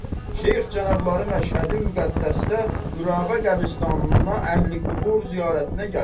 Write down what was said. Şeyx cənabları Məşhədi-müqəddəsdə Qürabə qəbristanına Əhli-qubur ziyarətinə gəlib.